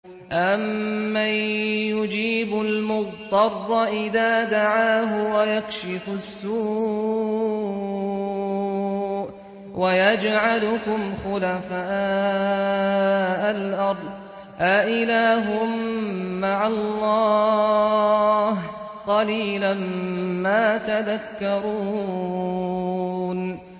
أَمَّن يُجِيبُ الْمُضْطَرَّ إِذَا دَعَاهُ وَيَكْشِفُ السُّوءَ وَيَجْعَلُكُمْ خُلَفَاءَ الْأَرْضِ ۗ أَإِلَٰهٌ مَّعَ اللَّهِ ۚ قَلِيلًا مَّا تَذَكَّرُونَ